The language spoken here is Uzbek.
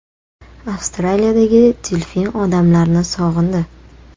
Avstraliyadagi delfin odamlarni sog‘indi.